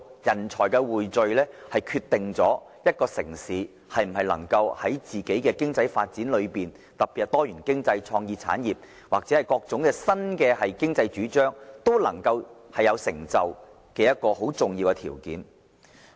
人才匯聚是決定一個城市在經濟發展之中，特別是在多元經濟、創意產業或各種新經濟領域中，能否有所成就的一個重要條件。